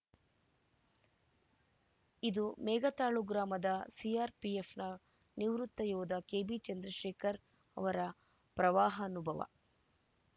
ಇದು ಮೇಘತಾಳು ಗ್ರಾಮದ ಸಿಆರ್‌ಪಿಎಫ್‌ನ ನಿವೃತ್ತ ಯೋಧ ಕೆಬಿಚಂದ್ರಶೇಖರ್‌ ಅವರ ಪ್ರವಾಹಾನುಭವ